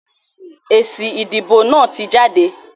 Èsì ìdìbò náà tí jáde.